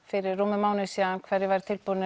fyrir rúmum mánuði síðan um hver væri tilbúin